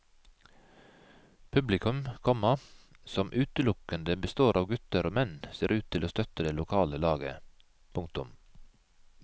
Publikum, komma som utelukkende består av gutter og menn ser ut å støtte det lokale laget. punktum